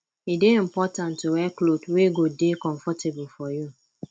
e de important to wear cloth wey go de comfortable for you